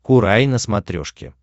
курай на смотрешке